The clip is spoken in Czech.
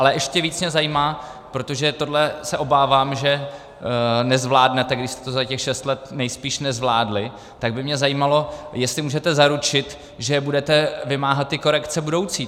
Ale ještě víc mě zajímá, protože tohle se obávám, že nezvládnete, když jste to za těch šest let nejspíš nezvládli, tak by mě zajímalo, jestli můžete zaručit, že budete vymáhat ty korekce budoucí.